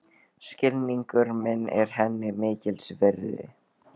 Skilningur minn er henni mikils virði.